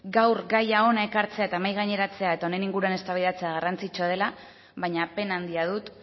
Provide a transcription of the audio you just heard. gaur gaia hona ekartzea eta mahai gaineratzea eta honen inguruan eztabaidatzea garrantzitsua dela baina pena handia dut